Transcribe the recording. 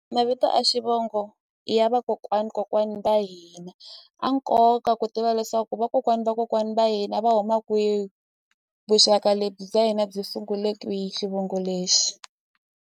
Mavito a xivongo i ya vakokwani kokwani va hina a nkoka ku tiva leswaku vakokwani vakokwani va hina va huma kwihi vuxaka lebyi bya hina byi sungule kwi xivongo lexi.